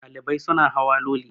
Ɗalibai suna hawa Loli